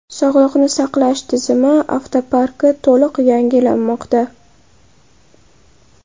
Sog‘liqni saqlash tizimi avtoparki to‘liq yangilanmoqda.